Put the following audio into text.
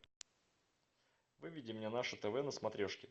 выведи мне наше тв на смотрешке